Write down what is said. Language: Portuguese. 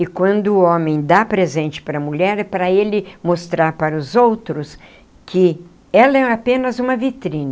E quando o homem dá presente para a mulher, é para ele mostrar para os outros que ela é apenas uma vitrine.